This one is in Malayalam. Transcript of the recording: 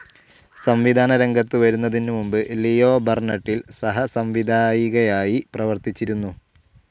സംവിധാനരംഗത്ത് വരുന്നതിന് മുൻപ് ലിയോ ബർണെട്ടിൽ സഹസംവിധായികയായി പ്രവർത്തിച്ചിരുന്നു.